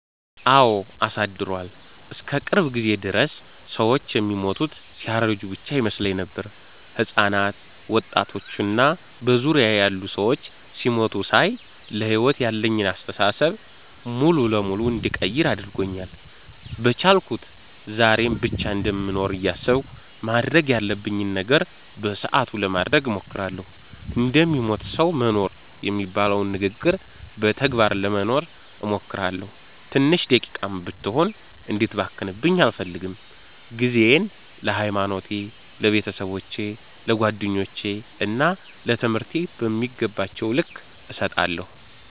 አወ አሳድሯል። እስከ ቅርብ ጊዜ ድረስ ሰወች የሚሞቱት ሲያረጁ ብቻ ይመስለኝ ነበር። ህጻናት፣ ወጣቶች እና በዙሪያየ ያሉ ሰዎች ሲሞቱ ሳይ ለሕይወት ያለኝን አስተሳሰብ ሙሉ በሙሉ እንድቀይር አድርጎኛል። በቻልኩት ዛሬን ብቻ እንደምኖር እያሰብኩ ማድረግ ያለብኝን ነገር በሰአቱ ለማድረግ እሞክራለሁ። እንደሚሞት ሰዉ መኖር የሚባለውን ንግግር በተግባር ለመኖር እሞክራለሁ። ትንሽ ደቂቃም ብትሆን እንድትባክንብኝ አልፈልግም። ጊዜየን ለሀይማኖቴ፣ ለቤተሰቦቼ፣ ለጓደኞቼ እና ለትምህርቴ በሚገባቸዉ ልክ እሰጣለሁ።